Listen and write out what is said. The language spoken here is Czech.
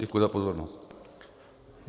Děkuji za pozornost.